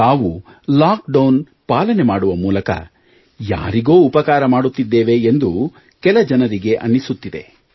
ತಾವು lockdown ಪಾಲನೆ ಮಾಡುವ ಮೂಲಕ ಯಾರಿಗೋ ಉಪಕಾರ ಮಾಡುತ್ತಿದ್ದೇವೆ ಎಂದು ಕೆಲ ಜನರಿಗೆ ಅನ್ನಿಸುತ್ತಿದೆ